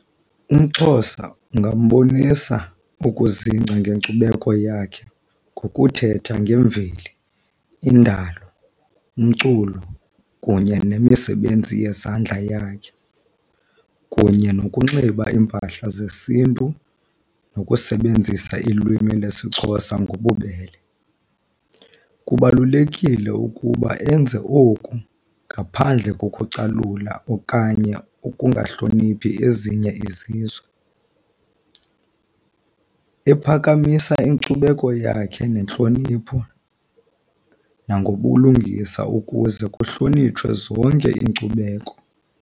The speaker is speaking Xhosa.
UmXhosa ungambonisa ukuzingca ngenkcubeko yakhe ngokuthetha ngemveli, indalo, umculo, kunye nemisebenzi yezandla yakhe, kunye nokunxiba iimpahla zesiNtu, nokusebenzisa ilwimi lesiXhosa ngobubele. Kubalulekile ukuba enze oku ngaphandle kokucalula okanye ukungahloniphi ezinye izizwe, ephakamisa inkcubeko yakhe nentlonipho nangobulungisa ukuze kuhlonitshwe zonke iinkcubeko